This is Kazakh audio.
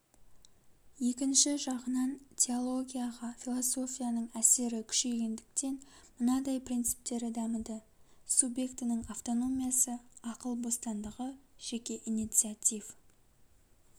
екінші жағынан теологияға философияның әсері күшейгендіктен мынадай принциптері дамыды субъектінің автономиясы ақыл бостандығы жеке инициативу